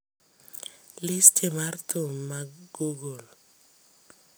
listi mar thum mag google